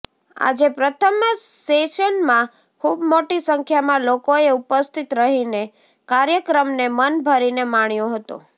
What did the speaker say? આજે પ્રથમ સેશનમાં ખૂબ મોટી સંખ્યામાં લોકોએ ઉપસ્થિત રહીને કાર્યક્રમને મન ભરીને માણ્યો હતો